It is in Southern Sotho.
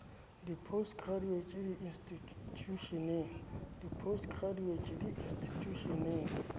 a post graduate di institjhusheneng